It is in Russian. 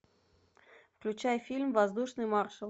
включай фильм воздушный маршал